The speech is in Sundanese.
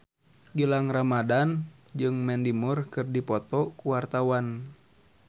Gilang Ramadan jeung Mandy Moore keur dipoto ku wartawan